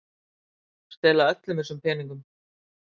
Stela öllum þessum peningum!